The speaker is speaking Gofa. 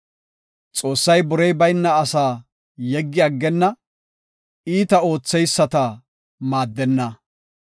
“Xoossay borey bayna asaa yeggi aggenna; iita ootheyisata maaddenna.